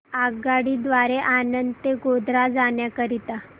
आगगाडी द्वारे आणंद ते गोध्रा जाण्या करीता